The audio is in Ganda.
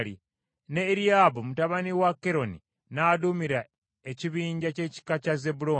ne Eriyaabu mutabani wa Keroni n’aduumira ekibinja ky’ekika kya Zebbulooni.